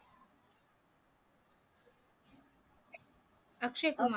Akshay Kumar